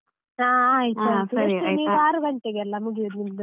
ಹಾ ಆರು ಗಂಟೆಗೆಲಾ ಮುಗಿಯುದು ನಿಮ್ದು?.